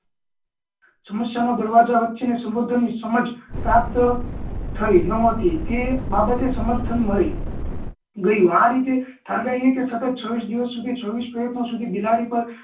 સમસ્યા નો દરવાજા વચ્ચે નાં સંબોધન સમજ પ્રાપ્ત થઈ ન હતી તે બાબતે સમર્થન મળી ગયું આ રીતે કારણ કે અહિયાં કે છવ્વીસ દિવસ સુધી છવ્વીસ મિનિટ સુધી બિલાડી પર